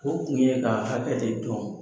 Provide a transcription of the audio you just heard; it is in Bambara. O tun ye ka hakɛ de dɔn.